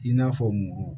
I n'a fɔ muru